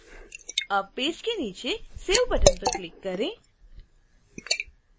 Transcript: अब पेज के नीचे save बटन पर क्लिक करें